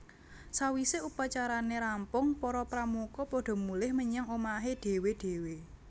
Sawise upacarane rampung para Pramuka padha mulih menyang omahé dhéwé dhéwé